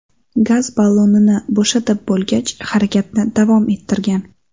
Gaz ballonini bo‘shatib bo‘lgach, harakatni davom ettirgan.